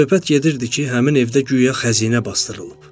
Söz-söhbət gedirdi ki, həmin evdə guya xəzinə basdırılıb.